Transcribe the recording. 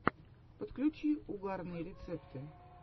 подключи угарные рецепты